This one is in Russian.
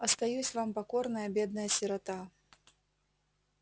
остаюсь вам покорная бедная сирота